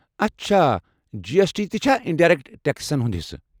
اچھا، G S T تہِ چھا انڈایرٮ۪کٹ ٹٮ۪کسن ہُنٛد حصہٕ؟